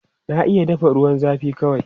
Na iya dafa ruwan zafi kawai.